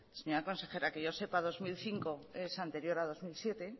señora consejera que yo sepa dos mil cinco es anterior a dos mil siete